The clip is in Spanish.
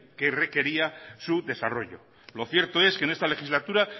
que requería su desarrollo lo cierto es que en esta legislatura